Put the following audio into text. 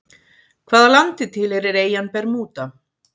Hvaða landi tilheyrir eyjan Bermúda?